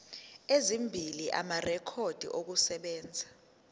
ezimbili amarekhodi okusebenza